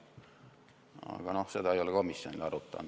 Aga seda ei ole komisjon arutanud.